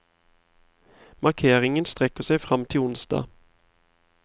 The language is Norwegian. Markeringen strekker seg frem til onsdag.